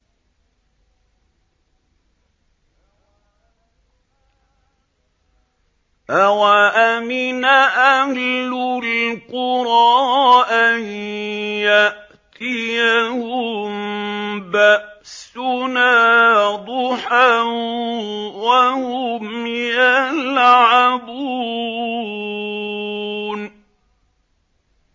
أَوَأَمِنَ أَهْلُ الْقُرَىٰ أَن يَأْتِيَهُم بَأْسُنَا ضُحًى وَهُمْ يَلْعَبُونَ